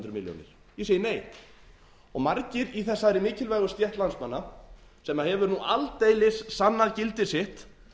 hundruð milljónir ég segi nei margir í þessari mikilvægu stétt landsmanna sem hefur aldeilis sannað gildi sitt